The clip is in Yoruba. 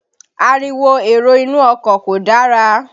Ariwo èrò inú ọkọ̀ kò dára.